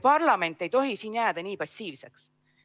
Parlament ei tohi siin jääda nii passiivseks.